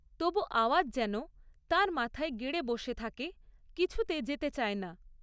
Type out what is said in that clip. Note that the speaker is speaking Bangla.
তবু আওয়াজ যেন তাঁর মাথায় গেড়ে বসে থাকে, কিছুতে যেতে চায় না।